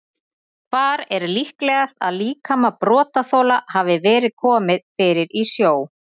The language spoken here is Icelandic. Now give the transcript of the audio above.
Hvar er líklegast að líkama brotaþola hafi verið komið fyrir í sjó?